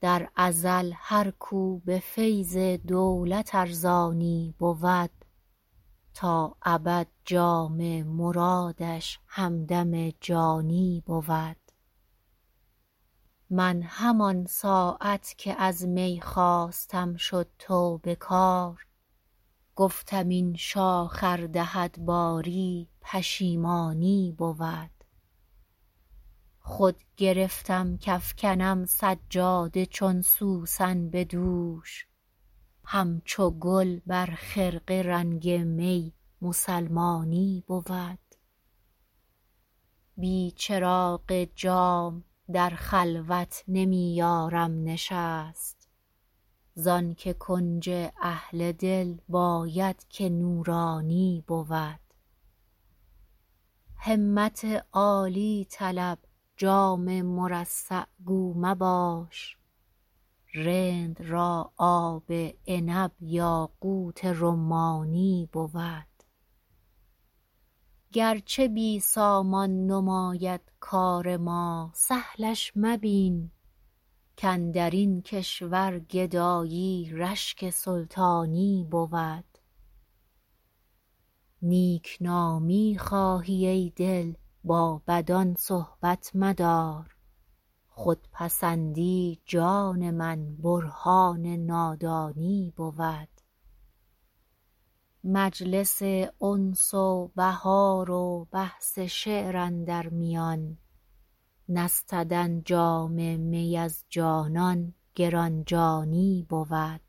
در ازل هر کو به فیض دولت ارزانی بود تا ابد جام مرادش همدم جانی بود من همان ساعت که از می خواستم شد توبه کار گفتم این شاخ ار دهد باری پشیمانی بود خود گرفتم کافکنم سجاده چون سوسن به دوش همچو گل بر خرقه رنگ می مسلمانی بود بی چراغ جام در خلوت نمی یارم نشست زان که کنج اهل دل باید که نورانی بود همت عالی طلب جام مرصع گو مباش رند را آب عنب یاقوت رمانی بود گرچه بی سامان نماید کار ما سهلش مبین کاندر این کشور گدایی رشک سلطانی بود نیک نامی خواهی ای دل با بدان صحبت مدار خودپسندی جان من برهان نادانی بود مجلس انس و بهار و بحث شعر اندر میان نستدن جام می از جانان گران جانی بود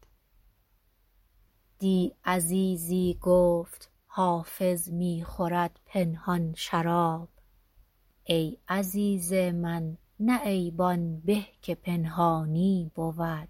دی عزیزی گفت حافظ می خورد پنهان شراب ای عزیز من نه عیب آن به که پنهانی بود